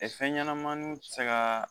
fɛn ɲɛnamaniw tɛ se ka